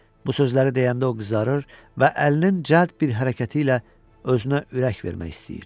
Bu sözləri deyəndə o qızarır və əlinin cəld bir hərəkəti ilə özünə ürək vermək istəyir.